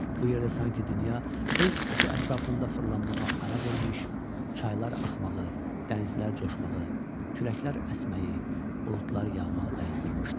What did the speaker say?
Bu yerdə sanki dünya öz oxu ətrafında fırlanmağa ara vermiş, çaylar axmağı, dənizlər coşmağı, küləklər əsməyi, buludlar yağmağı dayandırmışdı.